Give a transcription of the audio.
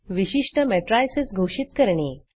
विशिष्ट matricesमेट्रिसस घोषित करणे